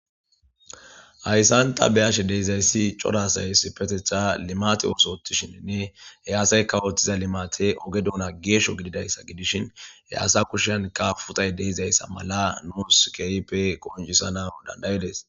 Hayisan ta be'ashe dizayis coora asay issipetethan limate oso othishenee he asayka othida limatey oge duna gesho gididayisa gidishin he asa kushanika puxay de'izaysa mala nus kehipe qonicisanaw danda'ides